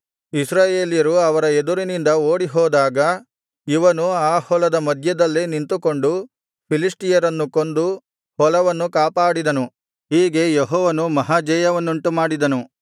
ಇಸ್ರಾಯೇಲ್ಯರು ಅವರ ಎದುರಿನಿಂದ ಓಡಿಹೋದಾಗ ಇವನು ಆ ಹೊಲದ ಮಧ್ಯದಲ್ಲೇ ನಿಂತುಕೊಂಡು ಫಿಲಿಷ್ಟಿಯರನ್ನು ಕೊಂದು ಹೊಲವನ್ನು ಕಾಪಾಡಿದನು ಹೀಗೆ ಯೆಹೋವನು ಮಹಾಜಯವನ್ನುಂಟುಮಾಡಿದನು